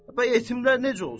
Bəs yetimlər necə olsun?